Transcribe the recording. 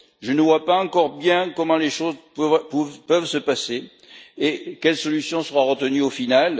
Je ne vois pas encore bien comment les choses peuvent se passer et quelle solution sera retenue au final.